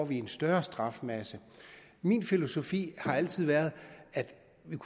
vi en større strafmasse min filosofi har altid været at vi